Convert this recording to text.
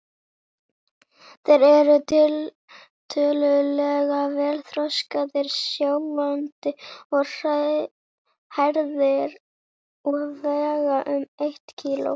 Þeir eru tiltölulega vel þroskaðir, sjáandi og hærðir og vega um eitt kíló.